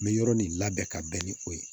N bɛ yɔrɔ nin labɛn ka bɛn ni o ye